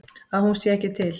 Að hún sé ekki til.